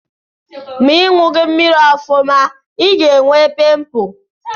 Ma Ị ṅughị mmiri ọfụma, ị ga-enwe pịmpụl.